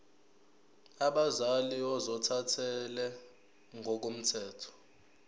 abazali ozothathele ngokomthetho